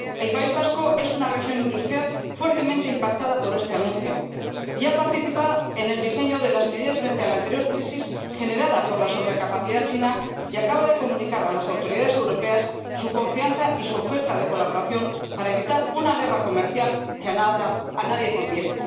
El País Vasco es una región industrial fuertemente impactada por este anuncio. Ya participó en el diseño de las medidas frente a la anterior crisis —generada por la sobrecapacidad china— y acaba de comunicar a las autoridades europeas su confianza y su oferta de colaboración para evitar una guerra comercial que a nadie conviene.